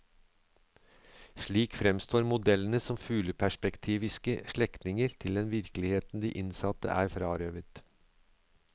Slik fremstår modellene som fugleperspektiviske slektninger til den virkeligheten de innsatte er frarøvet.